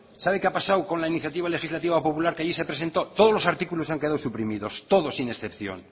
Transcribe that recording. sabe lo que ha pasado con la iniciativa legislativa popular que allí se presentó todos los artículos han quedado suprimidos todos sin excepción